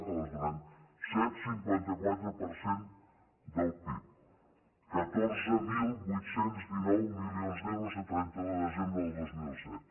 és clar que les donem set coma cinquanta quatre per cent del pib catorze mil vuit cents i dinou milions d’euros a trenta un de desembre de dos mil set